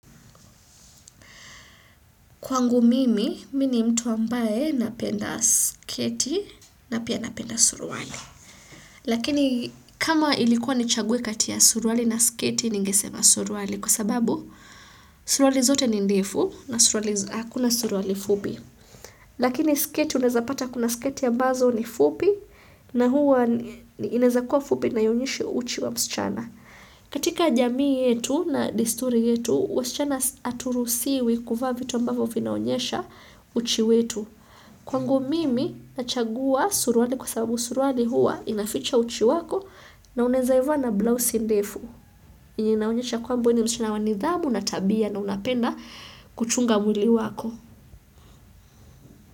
Kwangu mimi, mimi ni mtu ambaye napenda sketi na pia napenda suruali. Lakini kama ilikuwa nichaguwe kati ya suruali na sketi ningesema suruaali. Kwa sababu, suruali zote ni ndefu na hakuna suruali fupi. Lakini sketi unaezapata kuna sketi ambazo ni fupi na huwa inaezakuwa fupi na ionyeshe uchi wa msichana. Katika jamii yetu na desturi yetu, wasichana haturuhusiwi kuvaa vitu ambavyo vinaonyesha uchi wetu. Kwangu mimi nachagua suruali kwa sababu suruali hua inaficha uchi wako na unaezaivaa na blouse ndefu. Yenye inaonyesha kwamb we ni msichana wa nidhamu na tabia na unapenda kuchunga mwili wako.